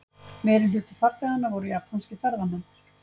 Meirihluti farþeganna voru japanskir ferðamenn